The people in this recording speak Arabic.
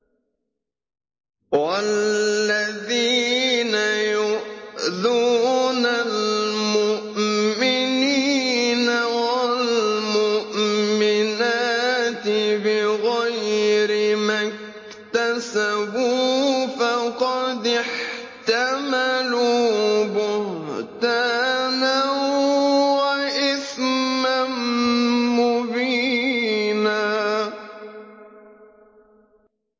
وَالَّذِينَ يُؤْذُونَ الْمُؤْمِنِينَ وَالْمُؤْمِنَاتِ بِغَيْرِ مَا اكْتَسَبُوا فَقَدِ احْتَمَلُوا بُهْتَانًا وَإِثْمًا مُّبِينًا